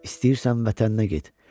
istəyirsən vətəninə get.